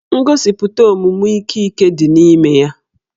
Ngosipụta omume ike ike ya dị n'ime ya